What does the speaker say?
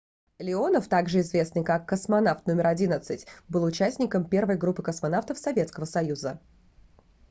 леонов также известный как космонавт № 11 был участником первой группы космонавтов советского союза